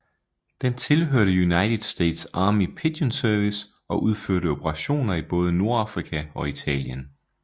Den tilhørte United States Army Pigeon Service og udførte operationer i både Nordafrika og Italien